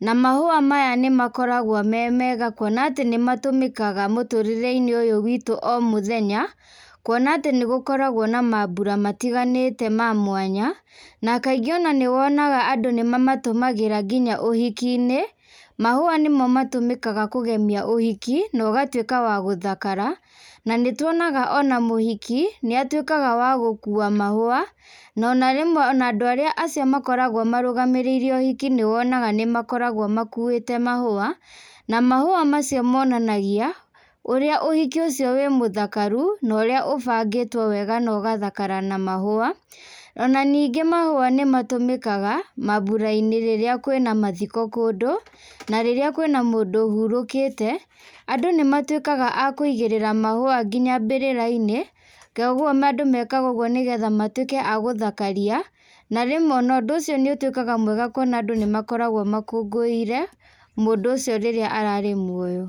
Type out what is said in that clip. na mahũa maya nĩmakoragwo me mega kuona atĩ nĩmatũmĩkaga mũtũrĩreinĩ ũyũ witũ o mũthenya, kuona atĩ nĩgũkoragwo na mambũra matiganĩte ma mwanya, na kaingĩ ona nĩwonaga andũ nĩmamatũmagĩra nginya ũhikinĩ, mahũa nĩmo matũmĩkaga kũgemia ũhiki, no ũgatuĩka wa gũthakara, na nĩtuonaga ona mũhiki, nĩatũĩkaga wa gũkua mahũa, na ona rĩmwe ona andũ arĩa acio makoragwo marũgamĩrĩire ũhiki nĩwonaga nĩmakoragwo makuĩte mahũa, na mahũa macio monanagia, ũrĩa ũhiki ũcio wĩ mũthakaru, na ũrĩa ũbangĩtwo wega na ũgathakara na mahũa, ona ningĩ mahũa nĩmatũmĩkaga, mabũrainĩ rĩrĩa kwĩna mathiko kũndũ, na rĩrĩa kwĩna mũndũ ũhurũkĩte, andũ nĩmatuĩkaga akũigĩrĩra mahua nginya mbĩrĩrinĩ, koguo andũ mekaga ũguo nĩgethe matuĩke a gũthakaria, na rĩmwe ona ũndũ ũcio nĩũtuĩkaga mwega kuona andũ nĩmakoragwo makũngũĩire, mũndũ ũcio rĩrĩa ararĩ muoyo.